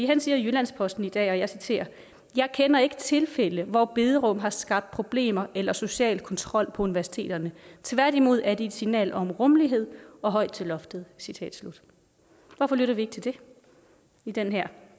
han siger i jyllands posten i dag og jeg citerer jeg kender ikke tilfælde hvor bederum har skabt problemer eller social kontrol på universiteterne tværtimod er de et signal om rummelighed og højt til loftet citat slut hvorfor lytter vi ikke til det i den her